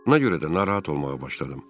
Ona görə də narahat olmağa başladım.